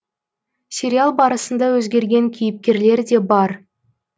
сериал барысында өзгерген кейіпкерлер де бар